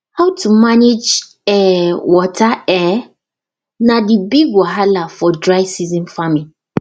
how to manage um water um na the big wahala for dry season farming